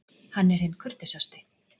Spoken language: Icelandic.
Hann er hinn kurteisasti.